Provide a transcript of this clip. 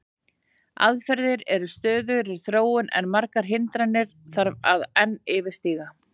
Aðferðir eru í stöðugri þróun en margar hindranir þarf að enn yfirstíga.